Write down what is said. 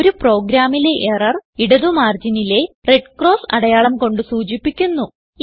ഒരു പ്രോഗ്രാമിലെ എറർ ഇടത് മാർജിനിലെ റെഡ് ക്രോസ് അടയാളം കൊണ്ട് സൂചിപ്പിക്കുന്നു